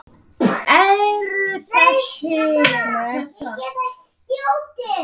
Eru það þessar?